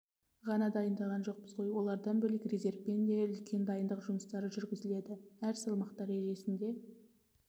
ғана дайындаған жоқпыз ғой олардан бөлек резервпен де үлкен дайындық жұмыстары жүргізілді әр салмақ дәрежесінде